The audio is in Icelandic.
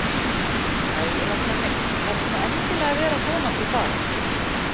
Æ, Ragnar minn, þarftu nú endilega að vera svona til fara?